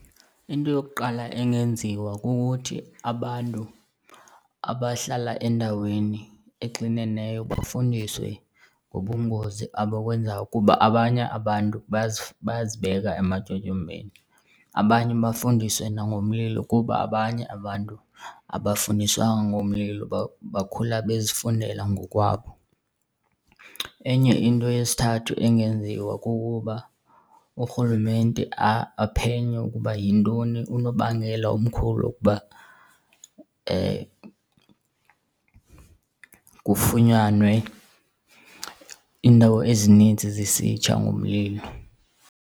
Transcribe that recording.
Into yokuqala engenziwa kukuthi abantu abahlala endaweni exineneyo bafundiswe ngobungozi abakwenzayo kuba abanye abantu bayazibeka ematyotyombeni. Abanye bafundiswe nangomlilo kuba abanye abantu abafundiswanga ngomlilo, bakhula bezifundela ngokwabo. Enye into yesithathu engenziwa kukuba uRhulumente aphenye ukuba yintoni unobangela omkhulu wokuba kufunyanwe iindawo ezinintsi zisitsha ngumlilo.